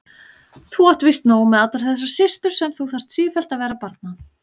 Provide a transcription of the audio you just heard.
Þú átt víst nóg með allar þessar systur sem þú þarf sífellt vera að barna.